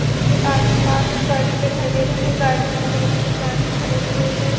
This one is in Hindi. उसके आस-पास गार्डन दिखाई दे रहा है गार्डन में बोहत से प्लांट्स खड़े हुए है।